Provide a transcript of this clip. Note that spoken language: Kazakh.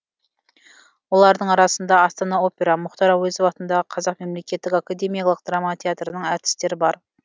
олардың арасында астана опера мұхтар әуезов атындағы қазақ мемлекеттік академиялық драма театрының әртістері бар